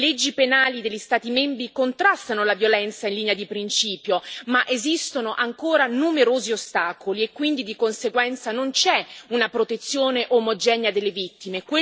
Le leggi penali degli Stati membri contrastano la violenza in linea di principio, ma esistono ancora numerosi ostacoli e quindi, di conseguenza, non c'è una protezione omogenea delle vittime.